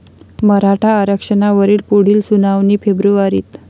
मराठा आरक्षणावरील पुढील सुनावणी फेब्रुवारीत